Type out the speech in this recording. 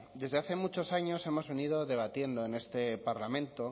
desde hace muchos años hemos venido debatiendo en este parlamento